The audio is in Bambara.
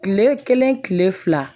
Kile kelen kile fila